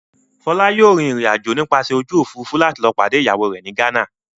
Fọlá yóò rìnrìn-àjò nípasẹ̀ ojú òfurufú láti lọ pàdé ìyàwó rẹ̀ ní Ghana.